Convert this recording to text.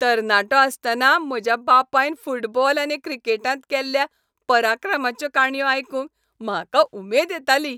तरणाटो आसतना म्हज्या बापायन फुटबॉल आनी क्रिकेटांत केल्ल्या पराक्रमांच्यो काणयो आयकूंक म्हाका उमेद येताली.